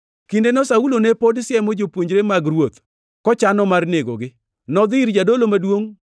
Kindeno Saulo ne pod siemo jopuonjre mag Ruoth, kochano mar negogi. Nodhi ir jadolo maduongʼ